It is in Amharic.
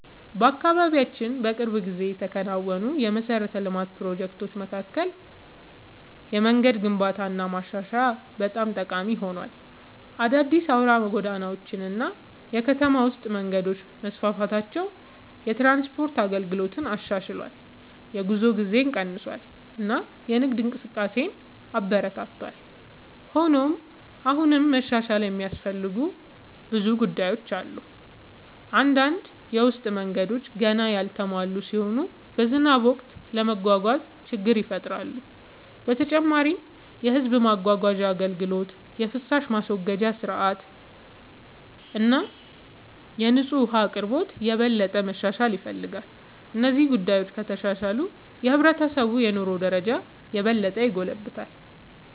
በአካባቢያችን በቅርብ ጊዜ ከተከናወኑ የመሠረተ ልማት ፕሮጀክቶች መካከል የመንገድ ግንባታና ማሻሻያ በጣም ጠቃሚ ሆኗል። አዳዲስ አውራ ጎዳናዎች እና የከተማ ውስጥ መንገዶች መስፋፋታቸው የትራንስፖርት አገልግሎትን አሻሽሏል፣ የጉዞ ጊዜን ቀንሷል እና የንግድ እንቅስቃሴን አበረታቷል። ሆኖም አሁንም መሻሻል የሚያስፈልጉ ጉዳዮች አሉ። አንዳንድ የውስጥ መንገዶች ገና ያልተሟሉ ሲሆኑ በዝናብ ወቅት ለመጓጓዝ ችግር ይፈጥራሉ። በተጨማሪም የሕዝብ ማጓጓዣ አገልግሎት፣ የፍሳሽ ማስወገጃ ሥርዓት እና የንጹህ ውኃ አቅርቦት የበለጠ መሻሻል ይፈልጋሉ። እነዚህ ጉዳዮች ከተሻሻሉ የሕብረተሰቡ የኑሮ ደረጃ የበለጠ ይጎለብታል።